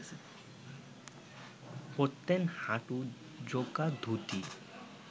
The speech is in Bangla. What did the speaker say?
পরতেন হাঁটু-জোকা ধুতি